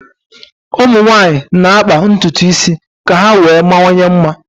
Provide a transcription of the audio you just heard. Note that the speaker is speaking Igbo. ụmụ nwanyị na-akpa ntutu isi ka ha wee mawanye mma